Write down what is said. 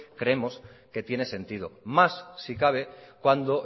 creemos que tiene sentido más si cabe cuando